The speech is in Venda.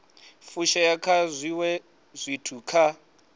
fushea nga zwiwe zwithu kha